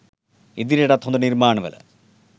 ඉදිරියටත් හොද නිර්මාණ වල